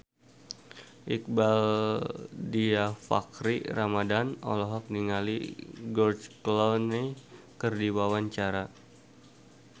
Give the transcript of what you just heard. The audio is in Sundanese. Iqbaal Dhiafakhri Ramadhan olohok ningali George Clooney keur diwawancara